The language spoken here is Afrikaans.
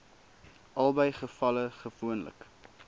albei gevalle gewoonlik